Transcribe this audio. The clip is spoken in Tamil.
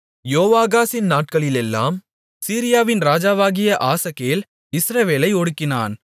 யோவாகாசின் நாட்களிலெல்லாம் சீரியாவின் ராஜாவாகிய ஆசகேல் இஸ்ரவேலை ஒடுக்கினான்